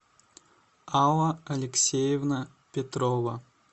алла алексеевна петрова